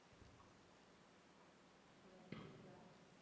hello இப்போ கேக்குதா